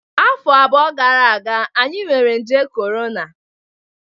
Afọ abụọ gara aga, anyị nwere nje corona